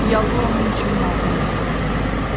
Yallı onun üçün matəm rəqsi idi.